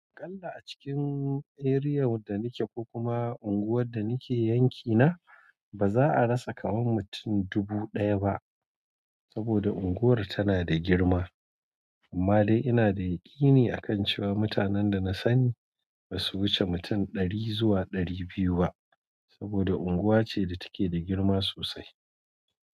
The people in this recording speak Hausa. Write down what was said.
Aƙalla a cikin area da nike ko kuma unguwar da nike yankina ba za a rasa kaman mutum dubu ɗaya ba saboda unguwar tana da girma amma dai inada yakini akan cewa mutanen da na sani basu wuce mutum ɗari zuwa ɗari biyu ba saboda unguwa ce da take da girma sosai.